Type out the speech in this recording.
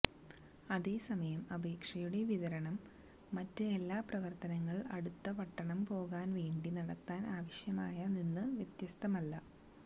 അതേ സമയം അപേക്ഷയുടെ വിതരണം മറ്റ് എല്ലാ പ്രവർത്തനങ്ങൾ അടുത്ത പട്ടണം പോകാൻ വേണ്ടി നടത്താൻ ആവശ്യമായ നിന്ന് വ്യത്യസ്തമല്ല